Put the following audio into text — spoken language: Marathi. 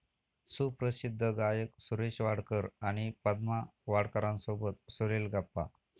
सुप्रसिद्ध गायक सुरेश वाडकर आणि पद्मा वाडकरांसोबत सुरेल गप्पा